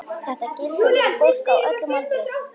Þetta gildir fyrir fólk á öllum aldri.